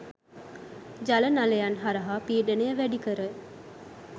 ජල නළයන් හරහා පීඩනය වැඩිකර